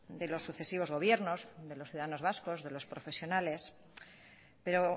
de los sucesivos gobiernos de los ciudadanos vascos de los profesionales pero